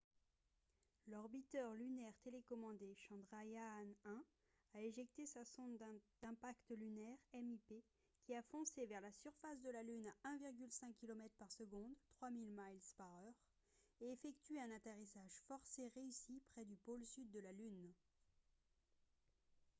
l'orbiteur lunaire télécommandé chandrayaan-1 a éjecté sa sonde d'impact lunaire mip qui a foncé vers la surface de la lune à 1,5 kilomètres par seconde 3000 miles par heure et effectué un atterrissage forcé réussi près du pôle sud de la lune